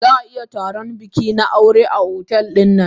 Zaa iya taron bikina aure na otel din.